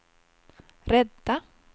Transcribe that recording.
rädda